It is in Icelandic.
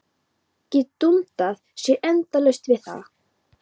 Gat dundað sér endalaust við það.